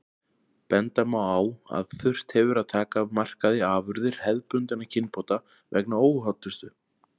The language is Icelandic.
Benda má á að þurft hefur að taka af markaði afurðir hefðbundinna kynbóta vegna óhollustu.